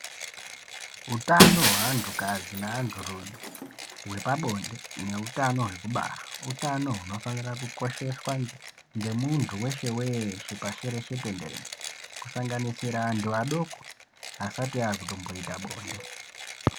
Hutano hwe antu kadzi ne antu rume hwepa bonde ne utano hwekubara utano huno fanira ku kosheswa nge muntu weshe weshe pasi reshe tenderere kusanganisira antu adoko asati akutombo ita bonde.